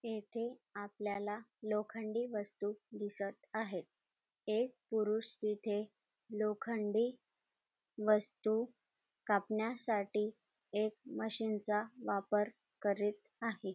येथे आपल्याला लोखंडी वस्तु दिसत आहे एक पुरुष तेथे लोखंडी वस्तु कापण्यासाठी एक मशीनचा वापर करीत आहे.